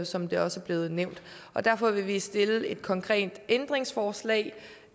som det også er blevet nævnt derfor vil vi stille et konkret ændringsforslag